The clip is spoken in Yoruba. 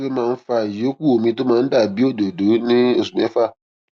kí ló máa ń fa ìyókù omi tó máa ń dà bí òdòdó ní oṣù méfà